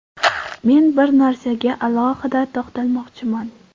Men bir narsaga alohida to‘xtalmoqchiman.